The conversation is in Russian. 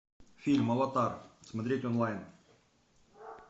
фильм аватар смотреть онлайн